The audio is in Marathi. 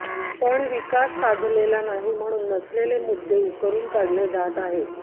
पण विकास साधलेला नाही म्हणून नसलेले मुद्दे उकरून काढले जात आहेत